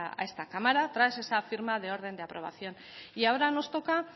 a esta cámara tras esa firma de orden de aprobación y ahora nos toca